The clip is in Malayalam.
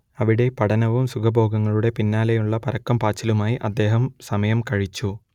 അവിടെ പഠനവും സുഖഭോഗങ്ങളുടെ പിന്നാലെയുള്ള പരക്കം പാച്ചിലുമായി അദ്ദേഹം സമയം കഴിച്ചു